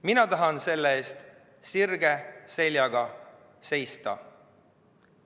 Mina tahan selle eest sirge seljaga seista.